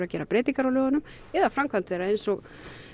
að gera breytingar á lögunum eða framkvæmd þeirra eins og